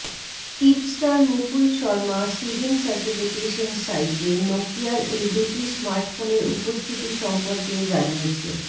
tipster Mukul Sharma SIRIM certification সাইটে নোকিয়ার এই দুটি স্মার্টফোনের উপস্থিতি সম্পর্কেও জানিয়েছে